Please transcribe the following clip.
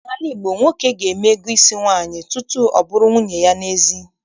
N'ala Igbo, nwoke ga-eme ego isi nwaanyị tutu ọ bụrụ nwunye ya n'ezie.